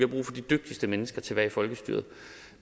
brug for de dygtigste mennesker til at være i folkestyret